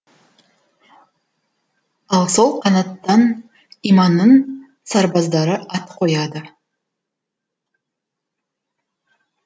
ал сол қанаттан иманның сарбаздары ат қояды